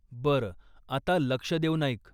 बरं, आता लक्ष देऊन ऐक.